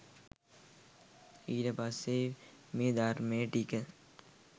ඊට පස්සේ මේ ධර්මය ටික